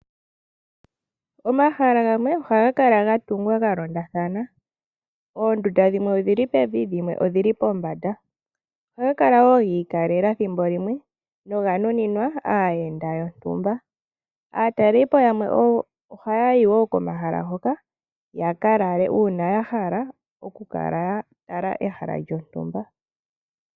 Omahala gamwe ohaga kala ga tungwa ga londathana, oondunda dhimwe odhili pevi dhimwe odhili pombanda, ohaga kala wo giikalela ethimbo limwe noga nuninwa aayenda yoontumba. Aatalelipo yamwe oha yayi wo komahala hoka ya ka lale uuna ya hala oku ka tala ehala lyontumba.